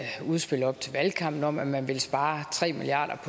udspil op til valgkampen om at man vil spare tre milliard